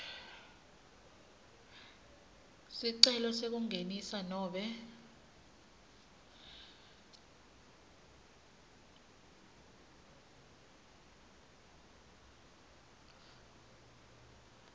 sicelo sekungenisa nobe